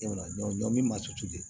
Ɲɔn ɲɔ min ma sutura de